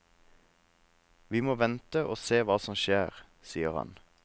Vi må vente og se hva som skjer, sier han.